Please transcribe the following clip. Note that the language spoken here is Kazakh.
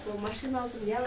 соған машина алдым не алдым